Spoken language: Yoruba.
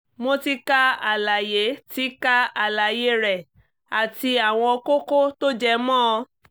mo ti ka àlàyé ti ka àlàyé rẹ àti àwọn kókó tó jẹ mọ́ ọn